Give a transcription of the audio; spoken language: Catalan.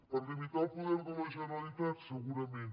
per limitar el poder de la generalitat segu rament